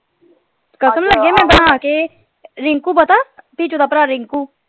ਕਸਮ ਲੱਗੇ ਮੈਂ ਬਣਾ ਕੇ ਰਿੰਕੂ ਪਤਾ ਪਿਚੋ ਦਾ ਭਰਾ ਰਿੰਕੂ।